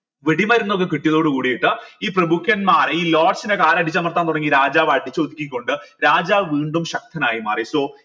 വെടി മരുന്നൊക്കെ കിട്ടിയതോട് കൂടിയിട്ട് ഈ പ്രമുഖന്മാർ ഈ കാൽ അടിച്ചമർത്താൻ തുടങ്ങി രാജാവായിട്ട് കൊണ്ട് രാജാവ് വീണ്ടും ശക്തനായി മാറി so